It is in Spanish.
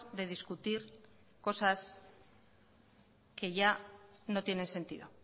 de discutir cosas que ya no tiene sentido